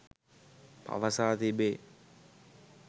පවසා තිබේ.